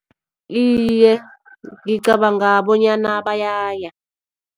Iye, ngicabanga bonyana bayaya.